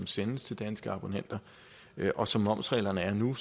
sendes til danske abonnenter og som momsreglerne er nu